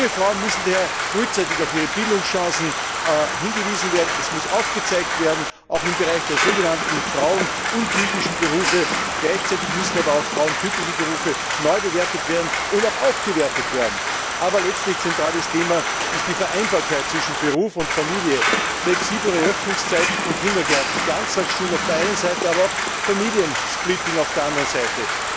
Junge Frauen müssen daher frühzeitig auf ihre Bildungschancen hingewiesen werden, die aufgezeigt werden müssen, auch im Bereich der sogenannten frauenuntypischen Berufe, gleichzeitig müssen aber auch frauentypische Berufe neubewertet und aufgewertet werden. Aber letztlich ist das zentrale Thema die Vereinbarkeit zwischen Beruf und Familie, flexiblere Öffnungszeiten von Kindergärten, Ganztagsschulen auf der einen Seite, aber auch Familiensplitting auf der anderen Seite.